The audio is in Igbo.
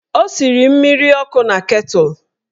Ọ siri mmiri ọkụ na ketụl.